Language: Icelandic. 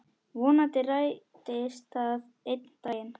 Vonandi rætist það einn daginn.